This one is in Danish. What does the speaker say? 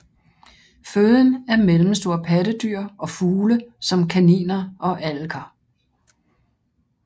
Føden er mellemstore pattedyr og fugle som kaniner og alliker